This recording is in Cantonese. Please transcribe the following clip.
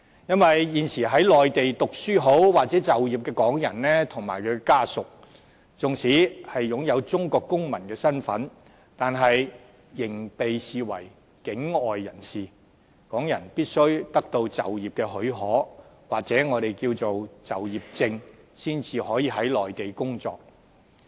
因為現時在內地讀書或就業的港人，以及他們的家屬，縱使擁有中國公民的身份，但仍被視為境外人士，港人必須得到就業的許可，或我們稱為就業證，才可以在內地工作。